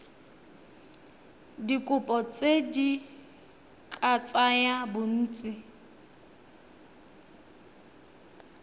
dikopo di ka tsaya bontsi